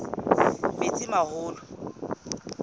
metsimaholo